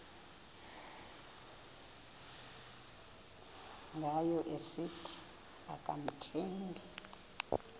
ngayo esithi akamthembi